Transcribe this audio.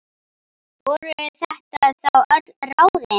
Voru þetta þá öll ráðin?